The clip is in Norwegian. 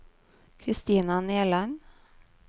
Kristina Nerland